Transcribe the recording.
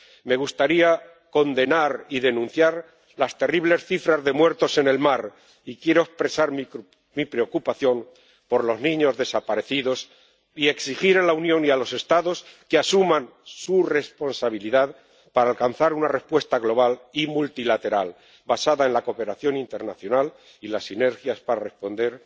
Me gustaría condenar y denunciar las terribles cifras de muertos en el mar, y quiero expresar mi preocupación por los niños desaparecidos y exigir a la Unión y a los Estados que asuman su responsabilidad para alcanzar una respuesta global y multilateral basada en la cooperación internacional y las sinergias para responder